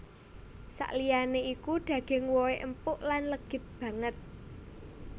Saliyané iku daging wohé empuk lan legit banget